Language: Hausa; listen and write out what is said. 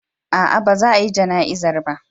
A'a, ba za a yi jana'izar ba.